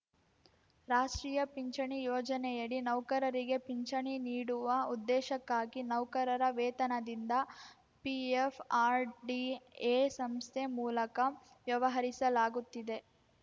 ರಾಷ್ಟ್ರೀಯ ಪಿಂಚಣಿ ಯೋಜನೆಯಡಿ ನೌಕರರಿಗೆ ಪಿಂಚಣಿ ನೀಡುವ ಉದ್ದೇಶಕ್ಕಾಗಿ ನೌಕರರ ವೇತನದಿಂದ ಪಿಎಫ್‌ಆರ್‌ಡಿಎ ಸಂಸ್ಥೆ ಮೂಲಕ ವ್ಯವಹರಿಸಲಾಗುತ್ತಿದೆ